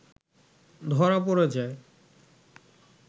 ধরা পড়ে যায়